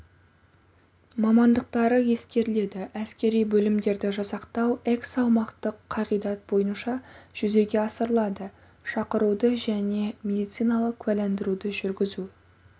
мамандықтары ескеріледі әскери бөлімдерді жасақтау эксаумақтық қағидат бойынша жүзеге асырылады шақыруды және медициналық куәландыруды жүргізу